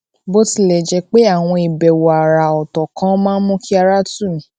bó tilè jé pé àwọn ìbèwò àrà òtò kan máa ń mú kí ara tù mí